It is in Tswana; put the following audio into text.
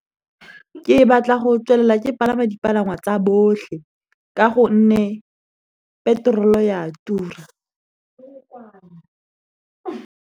Ke batla go tswelela ke palama dipalangwa tsa botlhe ka gonne petrol ya tura.